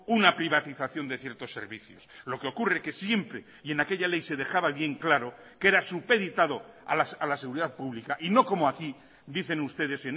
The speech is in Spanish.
una privatización de ciertos servicios lo que ocurre que siempre y en aquella ley se dejaba bien claro que era supeditado a la seguridad pública y no como aquí dicen ustedes